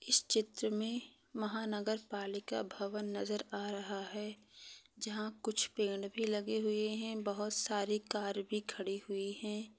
इस चित्र मे महानगरपालिका भवन नजर आ रहा है। जहा कुछ पेड भी लगे हुवे है। बहुत सारी कार भी खड़ी हुई है।